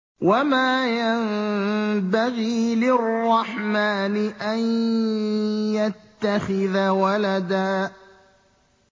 وَمَا يَنبَغِي لِلرَّحْمَٰنِ أَن يَتَّخِذَ وَلَدًا